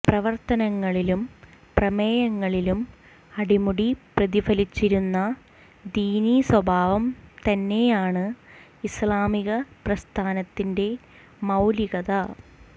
പ്രവര്ത്തനങ്ങളിലും പ്രമേയങ്ങളിലും അടിമുടി പ്രതിഫലിച്ചിരുന്ന ദീനീ സ്വഭാവം തന്നെയാണ് ഇസ്ലാമിക പ്രസ്ഥാനത്തിന്റെ മൌലികത